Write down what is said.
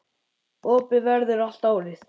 Opið verður allt árið.